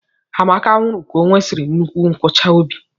Amaka nwụrụ ka onwesiri nnukwu nkuchi óbị.